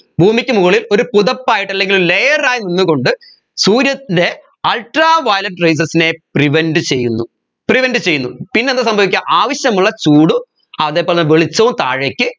ഭൂമിക്ക് മുകളിൽ ഒരു പുതപ്പായിട്ട് അല്ലെങ്കിൽ layer ആയി നിന്നുകൊണ്ട് സൂര്യൻെറ ultraviolet rayses നെ prevent ചെയ്യുന്നു prevent ചെയ്യുന്നു പിന്നെന്ത് സംഭവിക്ക ആവശ്യമുള്ള ചൂടു അതെ പോലെ വെളിച്ചവും താഴേക്ക്